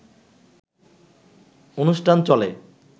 অনুষ্ঠান চলে